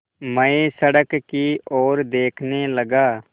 मैं सड़क की ओर देखने लगा